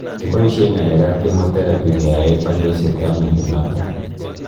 kipoishe ngalekap chemotherapy keae kanyaiset ap mnyondo ndonot